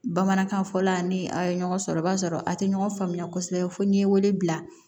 Bamanankan fɔla ni a ye ɲɔgɔn sɔrɔ i b'a sɔrɔ a tɛ ɲɔgɔn faamuya kosɛbɛ fo n'i ye wele bila